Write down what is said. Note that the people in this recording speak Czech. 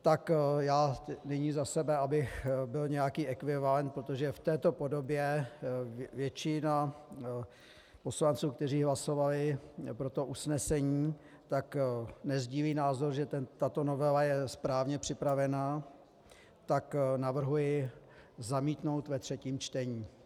Tak já nyní za sebe, abych byl nějaký ekvivalent, protože v této podobě většina poslanců, kteří hlasovali pro to usnesení, tak nesdílí názor, že tato novela je správně připravená, tak navrhuji zamítnout ve třetím čtení.